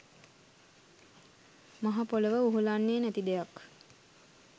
මහපොළොව උහුලන්නේ නැති දෙයක්.